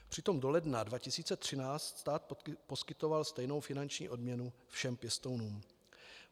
Přitom do ledna 2013 stát poskytoval stejnou finanční odměnu všem pěstounům.